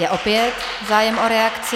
Je opět zájem o reakci.